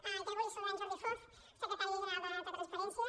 i també volia saludar en jordi foz secretari general de transparència